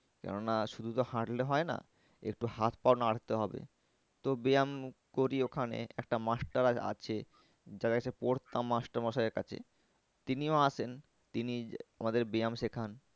কেন না শুধু তো হাঁটলে হয় না একটু হাত পা ও নাড়তে হবে। তো ব্যায়াম করি ওখানে একটা master আছে যার কাছে পড়তাম master মশাই এর কাছে তিনিও আসেন তিনি আমাদের ব্যায়াম সেখান